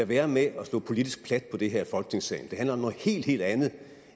være med at slå politisk plat på det her i folketingssalen det handler om noget helt helt andet